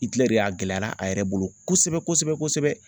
Itilɛri a gɛlɛyala a yɛrɛ bolo kosɛbɛ kosɛbɛ